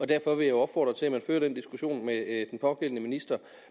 derfor vil jeg opfordre til at man fører den diskussion med den pågældende minister